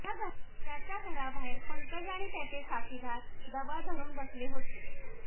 त्याच्या घराबाहेर पंकज आणि त्याचे साथीदार दबा धरून बसले होते